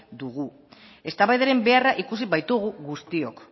dugu eztabaidaren beharra ikusi baitugu guztiok